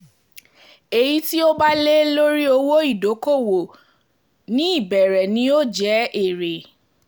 èyí tí ó bá lé lórí owó ìdókòwò lórí owó ìdókòwò ní ìbẹ̀rẹ̀ ni yóò jẹ́ èrè